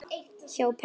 Hjá pabba